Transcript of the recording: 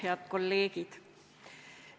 Head kolleegid!